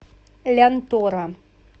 лянтора